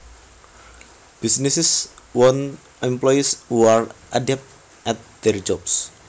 Businesses want employees who are adept at their jobs